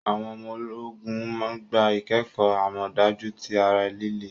Awọn ọmọ-ogun gbá ikẹkọ amọdaju ti ará líle